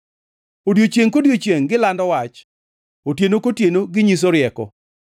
Odiechiengʼ kodiechiengʼ gilando wach; otieno kotieno ginyiso rieko.